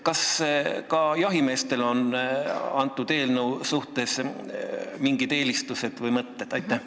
Kas ka jahimeestel on eelnõu asjus mingeid eelistusi või mõtteid?